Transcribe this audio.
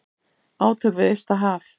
Átök við ysta haf.